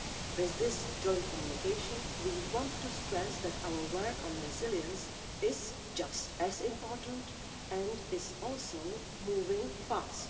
With this joint communication, we want to stress that our work on resilience is just as important and is also moving fast.